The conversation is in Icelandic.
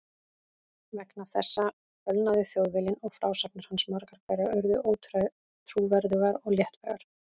Vegna þessa fölnaði Þjóðviljinn og frásagnir hans margar hverjar urðu ótrúverðugar og léttvægar.